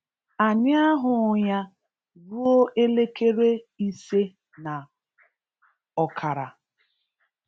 Anyị ahụghị ya ruo elekere ise na ọkara.